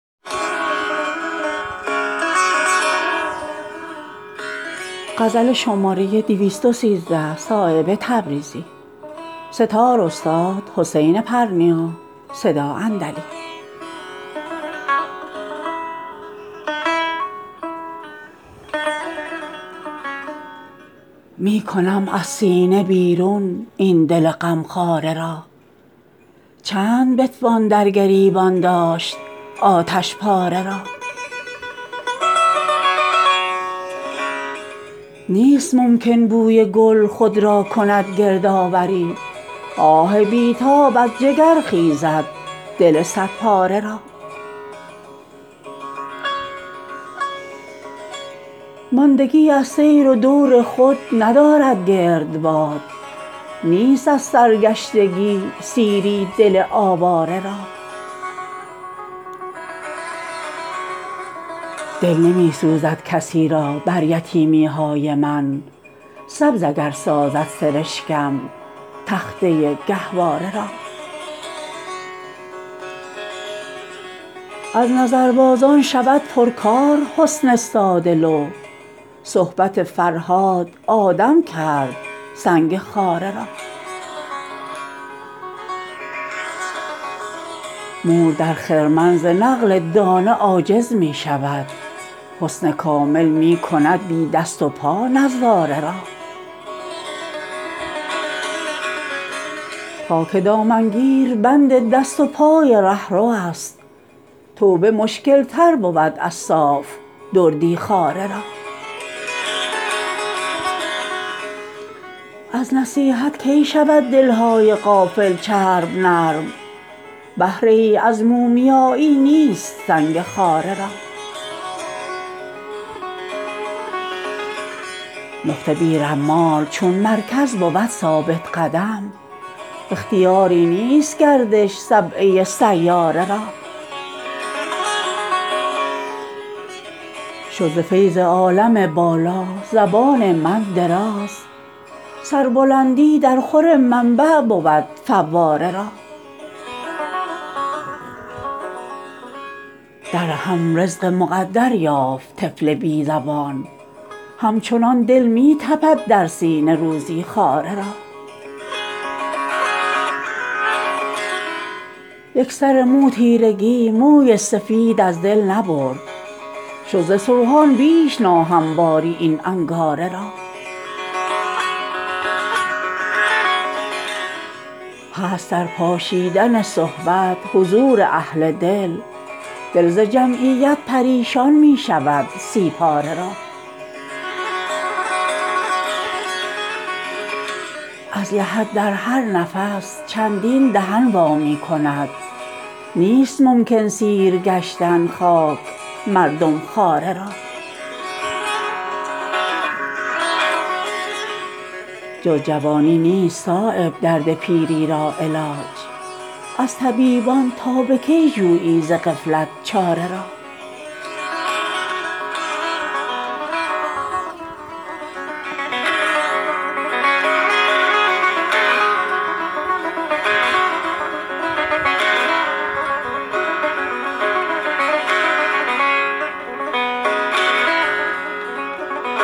می کنم از سینه بیرون این دل غمخواره را چند بتوان در گریبان داشت آتشپاره را نیست ممکن بوی گل خود را کند گردآوری آه بی تاب از جگر خیزد دل صد پاره را ماندگی از سیر و دور خود ندارد گردباد نیست از سرگشتگی سیری دل آواره را دل نمی سوزد کسی را بر یتیمی های من سبز اگر سازد سرشکم تخته گهواره را از نظربازان شود پرکار حسن ساده لوح صحبت فرهاد آدم کرد سنگ خاره را مور در خرمن ز نقل دانه عاجز می شود حسن کامل می کند بی دست و پا نظاره را خاک دامنگیر بند دست و پای رهروست توبه مشکل تر بود از صاف دردی خواره را از نصیحت کی شود دلهای غافل چرب نرم بهره ای از مومیایی نیست سنگ خاره را نقطه بی رمال چون مرکز بود ثابت قدم اختیاری نیست گردش سبعه سیاره را شد ز فیض عالم بالا زبان من دراز سربلندی در خور منبع بود فواره را در رحم رزق مقدر یافت طفل بی زبان همچنان دل می تپد در سینه روزی خواره را یک سر مو تیرگی موی سفید از دل نبرد شد ز سوهان بیش ناهمواری این انگاره را هست در پاشیدن صحبت حضور اهل دل دل ز جمعیت پریشان می شود سی پاره را از لحد در هر نفس چندین دهن وا می کند نیست ممکن سیر گشتن خاک مردم خواره را جز جوانی نیست صایب درد پیری را علاج از طبیبان تا به کی جویی ز غفلت چاره را